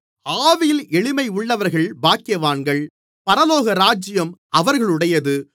ஆவியில் எளிமையுள்ளவர்கள் பாக்கியவான்கள் பரலோகராஜ்யம் அவர்களுடையது